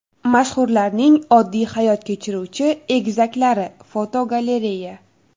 Mashhurlarning oddiy hayot kechiruvchi egizaklari (fotogalereya).